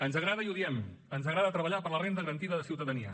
ens agrada i ho diem ens agrada treballar per la renda garantida de ciutadania